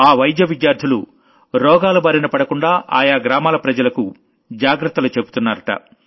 ఆ మెడికల్ విద్యార్థులు రోగాల బారిన పడకుండా ఆయా గ్రామాల ప్రజలకు జాగ్రత్తలు చెబుతున్నారట